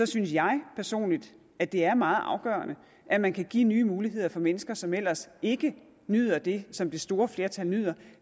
synes jeg personligt at det er meget afgørende at man kan give nye muligheder for mennesker som ellers ikke nyder det som det store flertal nyder